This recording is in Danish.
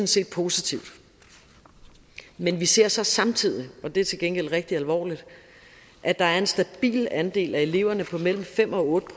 set positivt men vi ser så samtidig det er til gengæld rigtig alvorligt at der er en stabil andel af eleverne på mellem fem og otte